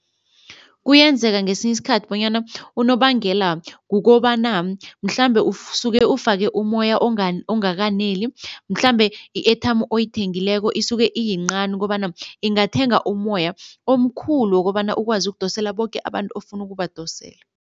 Kuyenzeka ngesinye isikhathi bonyana unobangela kukobana mhlambe usuke ufake umoya ongakaneli, mhlambe i-airtime oyithengileko isuke iyincani kobana ingathenga umoya omkhulu wokobana ukwazi ukudosela boke abantu ofuna ukubadosela.